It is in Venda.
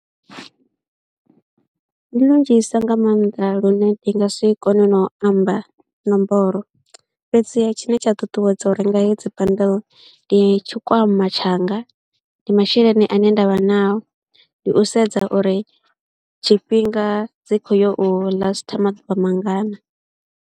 Ndi lunzhisa nga maanḓa lune ndi nga si kone na u amba nomboro, fhedziha tshine tsha ṱuṱuwedza u renga hedzi bundle ndi tshikwama tshanga, ndi masheleni ane nda vha nao, ndi u sedza uri tshifhinga dzi khou yo u ḽasitha maḓuvha mangana.